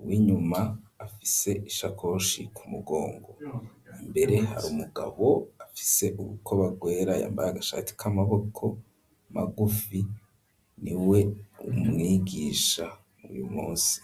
uwinyuma afise ishakoshi ku mugongo imbere hari umugabo afise ubuko bagwera ya mbare gashati k'amaboko magufi niwe mwigisha uyu munsi.